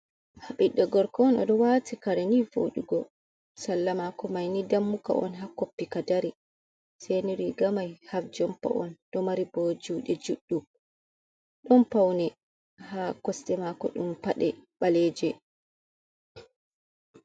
ɓiɗɗo gorka on o ɗo waati kareni vodugo salla maako maini dammuka on ha koppi ka dari, seni rigamai haf jompa on ɗo mari bo juɗe juɗɗum, ɗon paune ha kosɗe maako ɗon peɗe ɓaleje.